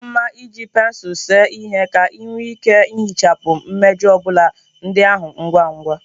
Ọ ka mma iji pensụl see ihe ka ị nwee ike ihichapụ mmejọ obula ndị ahụ ngwa ngwa